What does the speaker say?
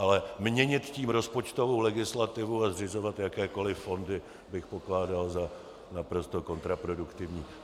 Ale měnit tím rozpočtovou legislativu a zřizovat jakékoli fondy bych pokládal za naprosto kontraproduktivní.